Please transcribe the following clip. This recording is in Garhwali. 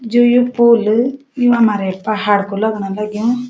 जु यू पुल यु हमारै पहाड कु लगण लग्युं।